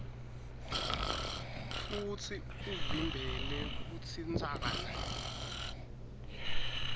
futsi uvimbele kutsintsana